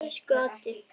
Elsku Addi.